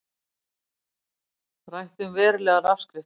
Rætt um verulegar afskriftir